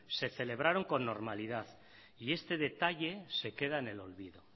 se celebraron con normalidad y este detalle se queda en el olvido